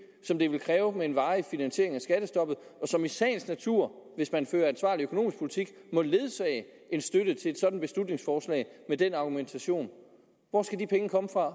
som det vil kræve med en varig finansiering af skattestoppet og som i sagens natur hvis man fører ansvarlig økonomisk politik må ledsage en støtte til et sådan beslutningsforslag med den argumentation hvor skal de penge komme fra